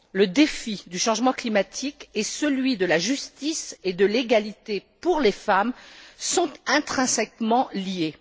Les défis du changement climatique et celui de la justice et de l'égalité pour les femmes sont intrinsèquement liés.